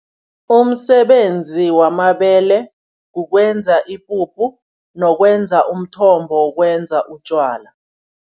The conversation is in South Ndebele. Umsebenzi wamabele kukwenza ipuphu nokwenza umthombo wokwenza utjwala.